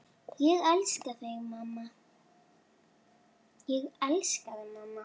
Ég elska þig mamma.